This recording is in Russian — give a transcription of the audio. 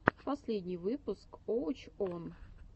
последний выпуск уоч он